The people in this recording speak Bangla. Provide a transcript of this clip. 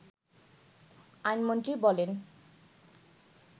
আইনমন্ত্রী বলেন